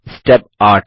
step 8